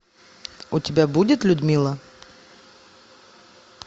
у тебя будет людмила